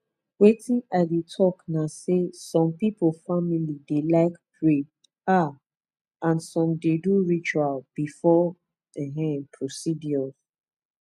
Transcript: wetin i dey talk na say some people family dey like pray ah and some dey do ritual before um procedures